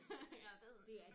Ja det er sådan